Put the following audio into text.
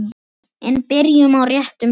En byrjum á réttum stað.